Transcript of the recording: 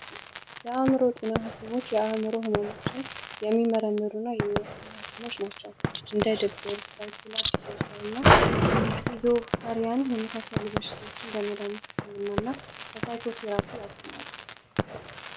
የአዕምሮ ጤና ሀኪሞች የአዕምሮ ህመሞችን የሚመረምሩ እና የሚያክሙ ሀኪሞች ናቸው። እንደ ድብርት ፣ስኪሎሀሪያን የመሳሰሉ በሽታዎችን በመድሀኒት ህክምና እና በሳይኮ ቴራፒ ያሰማሉ።